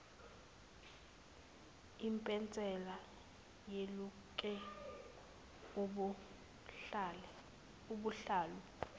ipensela weluke ubuhlalu